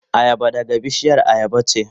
Ayaba daga bishiyar ayaba ce.